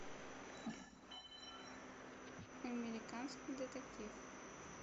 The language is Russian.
американский детектив